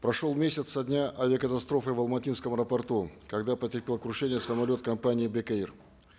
прошел месяц со дня авиакатастрофы в алматинском аэропорту когда потерпел крушение самолет компании бек эйр